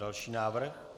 Další návrh.